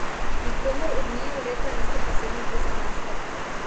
Nikomur od njiju leta niso posebno prizanesla.